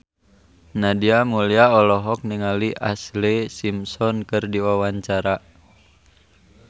Nadia Mulya olohok ningali Ashlee Simpson keur diwawancara